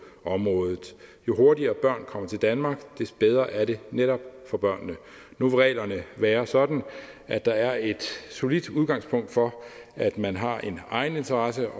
området jo hurtigere børn kommer til danmark des bedre er det netop for børnene nu vil reglerne være sådan at der er et solidt udgangspunkt for at man har en egeninteresse